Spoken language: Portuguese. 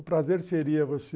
O prazer seria você